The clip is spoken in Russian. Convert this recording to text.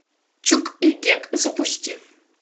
чук и гек запусти